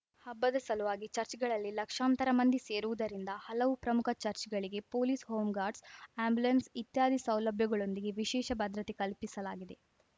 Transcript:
ಹಬ್ಬದ ಸಲುವಾಗಿ ಚಚ್‌ರ್‍ಗಳಲ್ಲಿ ಲಕ್ಷಾಂತರ ಮಂದಿ ಸೇರುವುದರಿಂದ ಹಲವು ಪ್ರಮುಖ ಚಚ್‌ರ್‍ಗಳಿಗೆ ಪೊಲೀಸ್‌ ಹೋಮ್ ಗಾರ್ಡ್ಸ್ ಆಂಬ್ಯುಲೆನ್ಸ್‌ ಇತ್ಯಾದಿ ಸೌಲಭ್ಯಗಳೊಂದಿಗೆ ವಿಶೇಷ ಭದ್ರತೆ ಕಲ್ಪಿಸಲಾಗಿದೆ